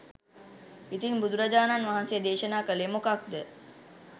ඉතින් බුදුරජාණන් වහන්සේ දේශනා කළේ මොකක්ද?